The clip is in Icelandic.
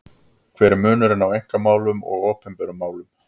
Hver er munurinn á einkamálum og opinberum málum?